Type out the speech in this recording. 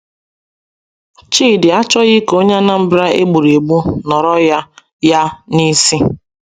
Chidi achọghị ka onye Anambra e gburu egbu nọrọ ya ya n’isi.